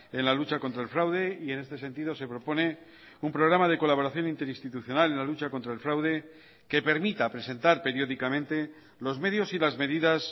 en la lucha contra el fraude y en este sentido se propone un programa de colaboración interinstitucional en la lucha contra el fraude que permita presentar periódicamente los medios y las medidas